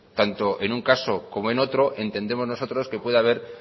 tanto en un caso como en otro entendemos nosotros que puede haber